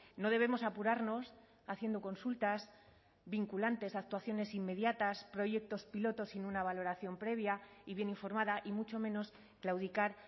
no debemos apurarnos haciendo consultas vinculantes actuaciones inmediatas proyectos piloto sin una valoración previa y bien informada y mucho menos claudicar